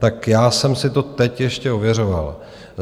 Tak já jsem si to teď ještě ověřoval.